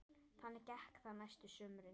Þannig gekk það næstu sumrin.